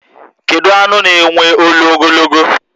Kedu anụ na enwe ọṅụ ogologo?